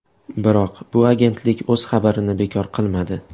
Biroq bu agentlik o‘z xabarini bekor qilmadi.